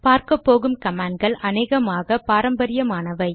பார்க்கப்போகும் கமாண்ட்கள் அநேகமாக பாரம்பரியமானவை